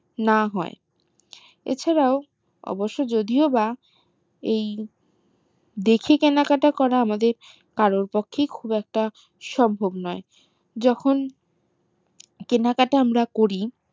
না হয় এছাড়াও অবশ্য যদিও বা এই দেখে কেনাকাটা করা আমাদের কারোর পক্ষেই খুব একটা সম্ভব নয় যখন কেনাকাটা আমরা করি